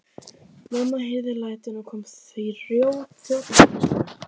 Mamma heyrði lætin og kom þjótandi inn í stofu.